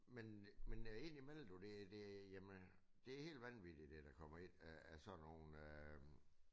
Men men øh ind i mellem du det det jamen det helt vanvittigt det der kommer ind af sådan nogle øh